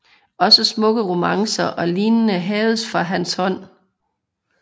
Også smukke romancer og lignende haves fra hans hånd